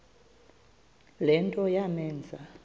le nto yamenza